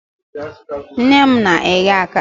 nne m na-eghe akara.